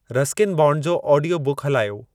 Ruskin Bond जो audio बुकु हलायो